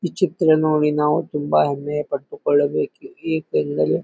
ಈ ಚಿಕ್ಕ ನೋವಿ ನಾವು ತುಂಬಾ ಅನ್ಯಾಯ ಪಟ್ಟುಕೊಳ್ಳಬೇಕು ಏಕೆಂದರೆ--